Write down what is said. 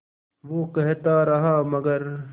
वो कहता रहा मगर